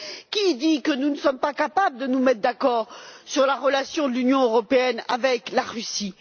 Qui dit que nous ne sommes pas capables de nous mettre d'accord sur la relation de l'Union européenne avec la Russie?